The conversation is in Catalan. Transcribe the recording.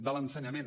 de l’ensenyament